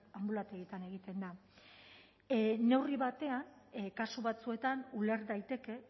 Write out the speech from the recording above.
anbulategietan egiten da neurri batean kasu batzuetan uler daiteke